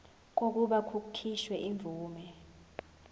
kokuba kukhishwe imvume